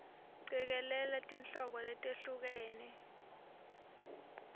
cikelela tinhlobo letehlukene